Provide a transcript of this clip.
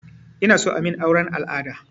Inason amin auren al'ada